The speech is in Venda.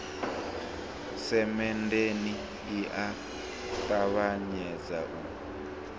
semenndeni i a ṱavhanyedza u